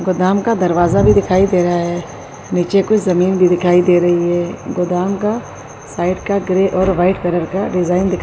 گودام کا دروازہ بھی دکھائی رہا ہے۔ نیچے کچھ زمین بھی دکھائی دے رہی ہے۔ گودام کا سائیڈ کا گرے اور وائٹ رنگ کا ڈیزائن دکھائی --